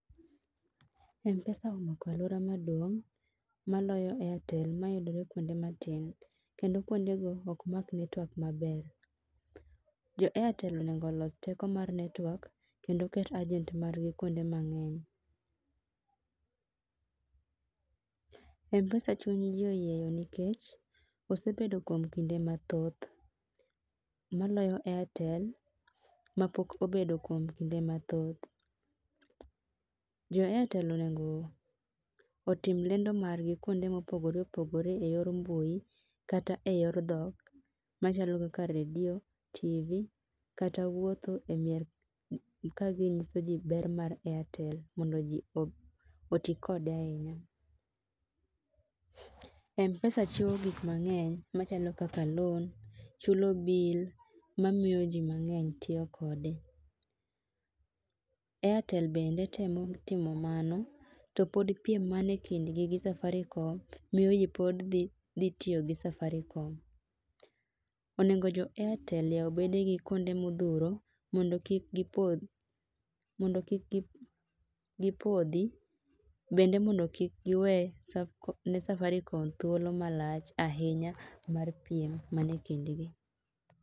Mpesa omako aluora maduong' maloyo airtel ma yudore kuonde ma tin kendo kuonde go ok mak network ma ber. Jo airtel onego los teko mar network kendo keto agent mar gi kuonde mang'eny. Mpesa chuny ji oyieyo nikech osebedo kuom kinde ma thoth maloyo airtel ma pok obedo kuom kinde ma thoth. Jo airtel onego otim lendo mar gi kuonde ma opogore opogore e yor mbui kata e yor dhok machalo kaka redio, tv kata wuotho e mier ka gi ng'iso ji ber mar airtel mondo ji oti kode ahinya. Mpesa chiwo gik mang'eny ma chalo kaka loan, chulo bill ma miyo ji mang'eny tiyo kode. Airtel bende temo timo mano to pod piem ma ni e kind gi gi Safaricom miyo ji pod dhi tiyo gi safaricom .Onego jo Airtel oyaw bede gi kuonde ma odhuro mondo kik gi podhi, mondo kik gi podhi bende mondo kik gi we ne safaricom thuolo ma lach ahinya mar piem ma ni ekind gi.